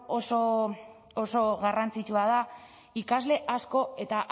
oso garrantzitsua da ikasle asko eta